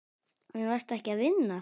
En varstu ekki að vinna?